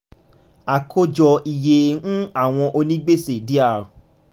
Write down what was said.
àkójọ iye um àwọn onígbèsè dr